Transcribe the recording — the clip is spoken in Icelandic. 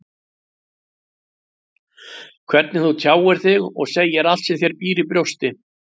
Hvernig þú tjáir þig og segir allt sem þér býr í brjósti.